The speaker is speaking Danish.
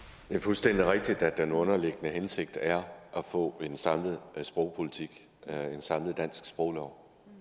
det er fuldstændig rigtigt at den underliggende hensigt er at få en samlet sprogpolitik en samlet dansk sproglov